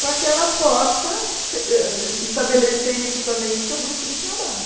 para que ela possa eh estabelecer isso também com o seu grupo de trabalho.